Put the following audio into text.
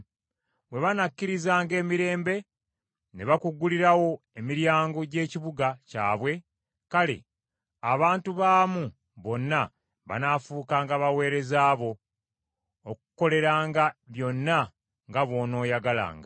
Bwe banakkirizanga emirembe, ne bakuggulirawo emiryango gy’ekibuga kyabwe, kale abantu baamu bonna banaafuukanga baweereza bo, okukukoleranga byonna nga bw’onooyagalanga.